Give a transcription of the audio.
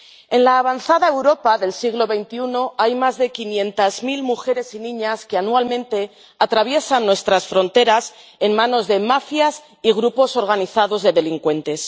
En la avanzada Europa del siglo XXI hay más de quinientas mil mujeres y niñas que anualmente atraviesan nuestras fronteras en manos de mafias y grupos organizados de delincuentes.